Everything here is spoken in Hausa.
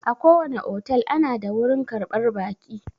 Akowane otel ana da wurin karɓar baƙi.